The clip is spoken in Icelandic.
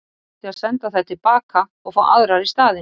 Þá átti að senda þær til baka og fá aðrar í staðinn.